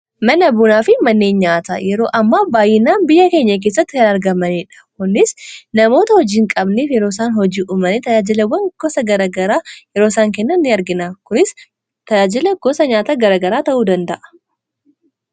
mana buunaa fi mannee nyaata yeroo amma baayyinaan biyya keenya keessatti tanargamaniidha konnis namoota hojiin qabniif yeroosaan hojii umanii tajaajilawwan gosa garagaraa yerooisaan kennaa ni argina kunis tajaajila gosa nyaataa garagaraa ta'uu danda'a